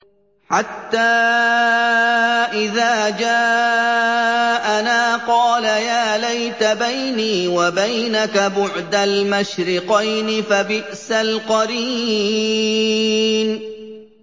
حَتَّىٰ إِذَا جَاءَنَا قَالَ يَا لَيْتَ بَيْنِي وَبَيْنَكَ بُعْدَ الْمَشْرِقَيْنِ فَبِئْسَ الْقَرِينُ